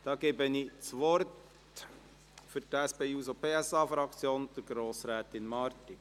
Ich gebe das Wort für die SP-JUSO-PSA-Fraktion Grossrätin Marti.